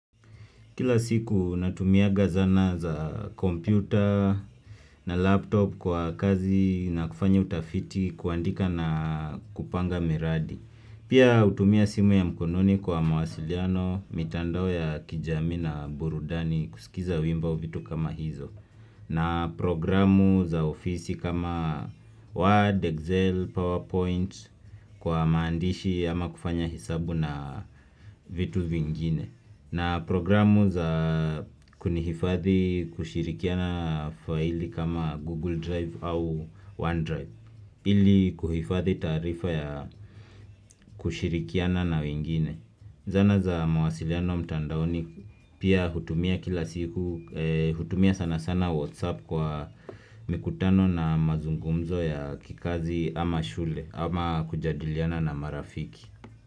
Kila siku natumianga zana za kompyuta na laptop kwa kazi na kufanya utafiti kuandika na kupanga miradi. Pia hutumia simu ya mkononi kwa mawasiliano, mitandao ya kijami na burudani kusikiza wimbo vitu kama hizo. Na programu za ofisi kama Word, Excel, PowerPoint kwa maandishi ama kufanya hesabu na vitu vingine. Na programu za kunihifadhi kushirikiana file kama Google Drive au OneDrive ili kuhifadhi taarifa ya kushirikiana na wingine Zana za mawasiliano mtandaoni pia hutumia kila siku hutumia sana sana Whatsapp kwa mikutano na mazungumzo ya kikazi ama shule Ama kujadiliana na marafiki.